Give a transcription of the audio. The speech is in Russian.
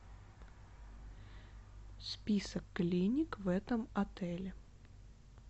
список клиник в этом отеле